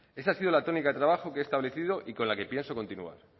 esa ha sido la tónica de trabajo que he establecido y con la que pienso continuar